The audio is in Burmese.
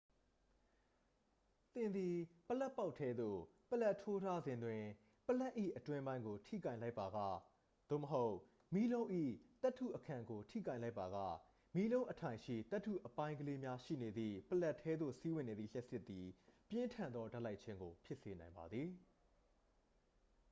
သင်သည် ပလပ်ပေါက်ထဲသို့ ပလပ်ထိုးထားစဉ်တွင် ပလပ်၏အတွင်းပိုင်းကို ထိကိုင်လိုက်ပါက သို့မဟုတ် မီးလုံး၏သတ္တုအခံကိုထိကိုင်လိုက်ပါက မီးလုံးအထိုင်ရှိ သတ္တုအပိုင်းကလေးများရှိနေသည့် ပလပ်ထဲသို့ စီးဝင်နေသော လျှပ်စစ်သည် ပြင်းထန်သောဓာတ်လိုက်ခြင်းကို ဖြစ်စေနိုင်ပါသည်